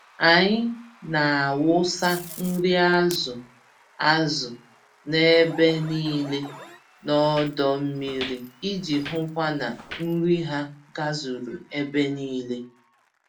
Anyị n'awụsa nri azụ azụ n'ebe nílé n'ọdọ mmiri iji hụkwa na nri ha gazuru ebe nílé.